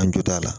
An jɔ t'a la